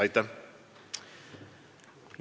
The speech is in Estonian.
Aitäh!